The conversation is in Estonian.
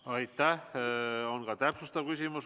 Teile on ka täpsustav küsimus.